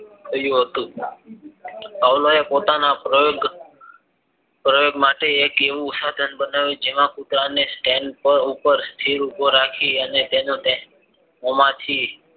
કહ્યું હતું આવળાવે પોતાના પ્રયોગ માટે એક એવું સાધન બનાવ્યું જેમાં કૂતરાને સ્ટેન્ડ પર સ્થિર ઉભો રાખી અને તેના મોંમાંથી